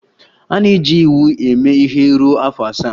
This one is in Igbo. A na-eji iwu a eme ihe ruo afọ asaa.